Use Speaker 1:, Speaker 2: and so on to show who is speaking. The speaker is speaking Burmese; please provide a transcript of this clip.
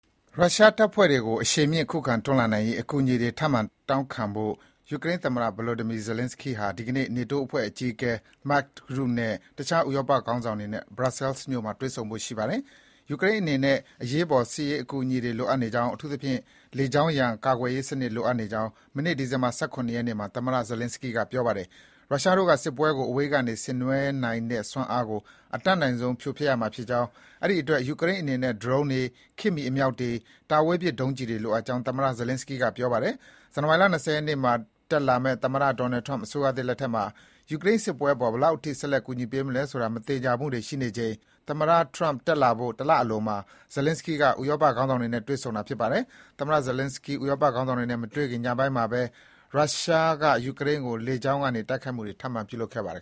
Speaker 1: ရုရှားတပ်ဖွဲ့တွေကို အရှိန်မြင့် ခုခံတွန်းလှန်နိုင်ရေး အကူအညီတွေ ထပ်မံတောင်းခံဖို့ ယူရိန်းသမ္မတ Volodymyr Zelenskyy ဟာ ဒီကနေ့ နေတိုးအဖွဲ့အကြီးအကဲ Mark Rutte နဲ့ တခြား ဥရောပခေါင်းဆောင်တွေနဲ့ Brussels မြို့မှာ တွေ့ဆုံဖို့ရှိပါတယ်။ ယူကရိန်းအနေနဲ့ အရေးပေါ် စစ်ရေးအကူအညီတွေ လိုအပ်နေကြောင်း၊ အထူးသဖြင့် လေကြောင်းရန် ကာကွယ်ရေးစံနစ် လိုအပ်နေကြောင်း မနေ့ ဒီဇင်ဘာ ၁၇ ရက်နေ့မှာ သမ္မတ Zelenskyy က ပြောပါတယ်။ ရုရှားတို့က စစ်ပွဲကို အဝေးကနေ ဆင်နွဲနေနိုင်တဲ့စွမ်းအားကို အတတ်နိုင်ဆုံး ဖြိုဖျက်ပစ်ရမှာဖြစ်ကြောင်း၊ အဲဒီအတွက် ယူကရိန်းအနေနဲ့ ဒရုန်းတွေ၊ ခေတ်မှီ အမြှောက်တွေ၊ တာဝေးပစ် ဒုံးကျည်တွေ လိုအပ်ကြောင်း သမ္မတ Zelenskyy က ပြောပါတယ်။ ဇန်နဝါရီလ ၂၀ ရက်နေ့မှာ တက်လာမယ့် သမ္မတ Donald Trump အစိုးရသစ်လက်ထက်မှာ ယူကရိန်းစစ်ပွဲအပေါ် ဘယ်လောက်အထိ ဆက်လက် ကူညီပေးမလဲဆိုတာ မသေချာမှုတွေ ရှိနေချိန် သမ္မတ Trump တက်လာဖို့ တလအလိုမှာ သမ္မတ Zelenskyy က ဥရောပခေါင်းဆောင်တွေနဲ့ တွေ့ဆုံတာလည်း ဖြစ်ပါတယ်။ သမ္မတ Zelenskyy ဥရောပခေါင်းဆောင်တွေနဲ့ မတွေ့ခင် ညပိုင်းမှာဘဲ ရုရှား ယူကရိန်းကို လေကြောင်းကတိုက်ခိုက်မှုတွေ ထပ်မံ ပြုလုပ်ခဲ့ပါတယ်